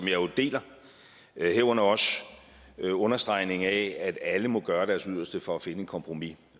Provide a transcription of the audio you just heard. jo deler herunder også en understregning af at alle må gøre deres yderste for at finde et kompromis